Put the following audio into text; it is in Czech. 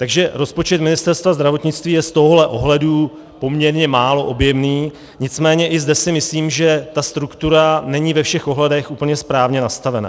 Takže rozpočet Ministerstva zdravotnictví je z tohohle ohledu poměrně málo objemný, nicméně i zde si myslím, že ta struktura není ve všech ohledech úplně správně nastavená.